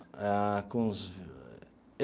Ah com uns.